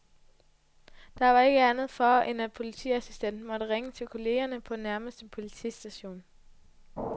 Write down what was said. Der var ikke andet for, end at politiassistenten måtte ringe til kollegerne på nærmeste politistation.